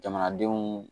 Jamanadenw